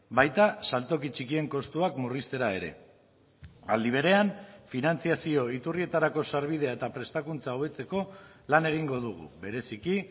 baita saltoki txikien kostuak murriztera ere aldi berean finantzazio iturrietarako sarbidea eta prestakuntza hobetzeko lan egingo dugu bereziki